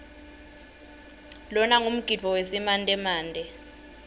lona ngumgidvo wesimantemante